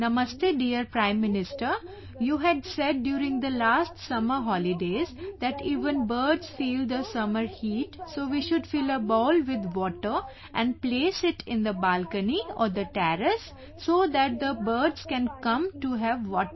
Namaste dear Prime Minister, you had said during the last summer holidays that even birds feel the summer heat so we should fill a bowl with water and place it in the balcony or the terrace so that the birds can come to have water